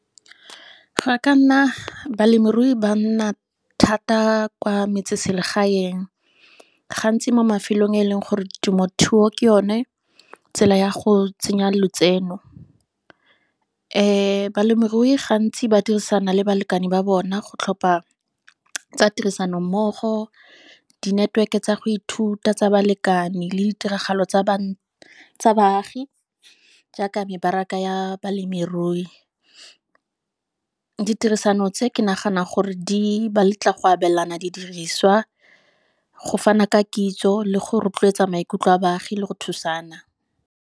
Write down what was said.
Ga ka nna, balemirui ba nna thata kwa metseselegaeng, ga ntsi mo mafelong a e leng gore temothuo ke yone tsela ya go tsenya lotseno, balemirui gantsi ba dirisana le balekane ba bona go tlhopha tsa tirisanommogo, di-network-e tsa go ithuta tsa balekane le ditiragalo tsa baagi jaaka mebaraka ya balemirui. Ditirisano tse, ke nagana gore di ba letla go abelana di diriswa, go fana ka kitso, le go rotloetsa maikutlo a baagi le go thusana.